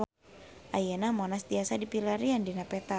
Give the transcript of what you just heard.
Ayeuna Monas tiasa dipilarian dina peta